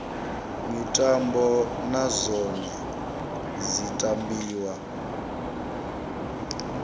mitambo na dzone dzi tambiwa